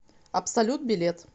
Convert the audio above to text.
абсолют билет